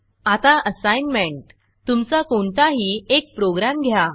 आता असाईनमेंट तुमचा कोणताही एक प्रोग्रॅम घ्या